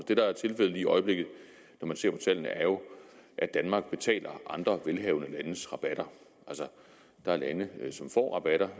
det der er tilfældet lige i øjeblikket når man ser på tallene er jo at danmark betaler andre velhavende landes rabatter altså der er lande som får rabatter